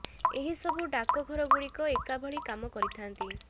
ଏହି ସବୁ ଡାକ ଘର ଗୁଡିକ ଏକା ଭଳି କାମ କରିଥାନ୍ତି